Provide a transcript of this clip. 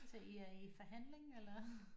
Så I er i forhandling eller